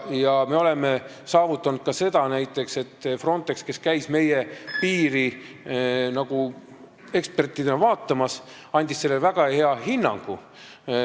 Ja me oleme saavutanud ka näiteks selle, et Frontex, kes käis meie piiri eksperdina vaatamas, andis sellele väga hea hinnangu.